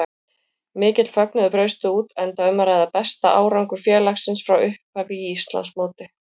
Mikill fögnuður braust út enda um að ræða besta árangur félagsins frá upphafi í Íslandsmóti.